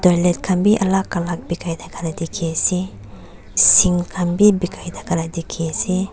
toilet khan bi alak alak bikai thaka la dikhiase sink khan bi bikai thaka la dikhiase.